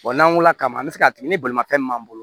Wa n'an wulila kama an bɛ se k'a tigi ni bolimafɛn min m'an bolo